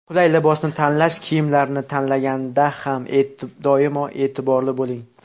Qulay libosni tanlash Kiyimlarni tanlaganda ham doimo e’tiborli bo‘ling.